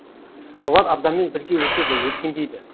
олар адаммен бірге өседі өркендейді